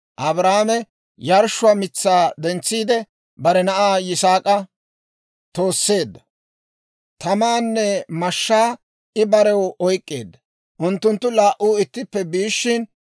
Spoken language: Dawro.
Abrahaame yarshshuwaa mitsaa dentsiide, bare na'aa Yisaak'a tooseedda; tamaanne mashshaa I barew oyk'k'eedda. Unttunttu laa"u ittippe biishshin,